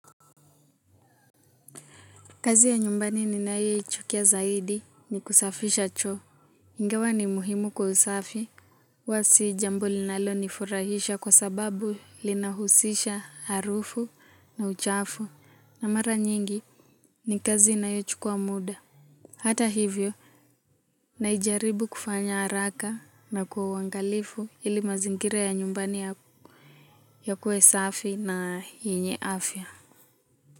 Kazi ya nyumbani ninayoichukia zaidi ni kusafisha choo. Ingawa ni muhimu kwa usafi. Huwa si jambo linalo nifurahisha kwa sababu linahusisha harufu na uchafu. Na mara nyingi ni kazi inayochukua muda. Hata hivyo najaribu kufanya haraka na kwa uangalifu ili mazingira ya nyumbani yakuwe safi na yenye afya.